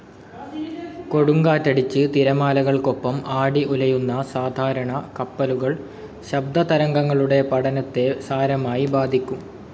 കൊടുങ്കാറ്റടിച്ച് തിരമാലകൾക്കൊപ്പം ആടി ഉലയുന്ന സാധാരണ കപ്പലുകൾ ശബ്ദതരംഗങ്ങളുടെ പഠനത്തെ സാരമായി ബാധിക്കും.